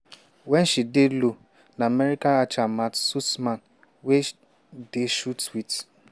wen she dey low na american archer matt stutzman wey dey shoot wit